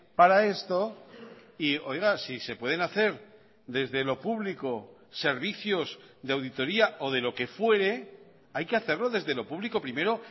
para esto y oiga si se pueden hacer desde lo público servicios de auditoría o de lo que fuere hay que hacerlo desde lo público primero